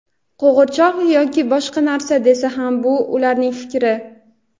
qo‘g‘irchoq yoki boshqa narsa desa ham bu ularning fikri.